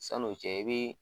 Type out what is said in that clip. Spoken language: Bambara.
San'o cɛ i be